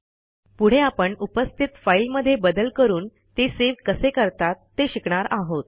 पुढे आपण उपस्थित फाईलमध्ये बदल करून ते सेव्ह कसे करतात ते शिकणार आहोत